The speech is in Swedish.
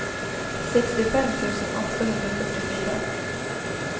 sextiofem tusen åttahundrafyrtiofyra